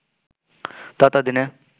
ততো দিনে